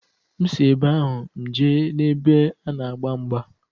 M si ebe ahụ, m jee n'ebe a na-agba mgba.